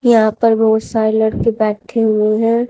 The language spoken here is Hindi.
यहां पर बहुत सारी लड़के बैठे हुए हैं।